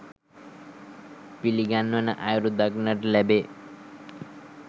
පිළිගන්වන අයුරු දක්නට ලැබේ.